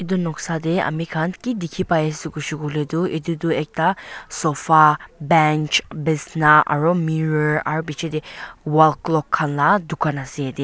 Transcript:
edu noksa tae amikhan ki dikhipaiase koilae tu edu tu ekta sofa bench bisna aru mirror aru bichae tae wall clock khan la dukan ase yatae.